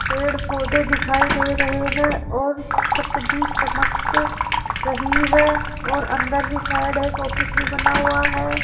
पेड़ पोधै दिखाई दे रहे हैं और छत भी चमक रही है और अंदर भी साइड एक ऑफिस भी बना हुआ है।